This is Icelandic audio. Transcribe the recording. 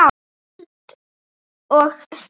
Spæld og þvæld.